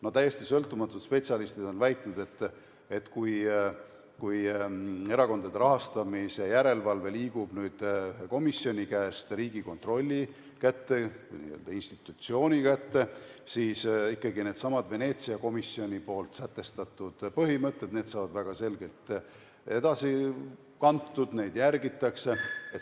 No täiesti sõltumatud spetsialistid on väitnud, et kui erakondade rahastamise järelevalve liigub nüüd komisjoni käest Riigikontrolli kätte, n-ö institutsiooni kätte, siis ikkagi needsamad Veneetsia komisjoni sätestatud põhimõtted saavad väga selgelt edasi kantud, neid järgitakse.